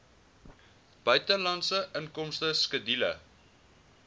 buitelandse inkomste skedule